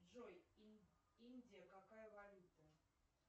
джой индия какая валюта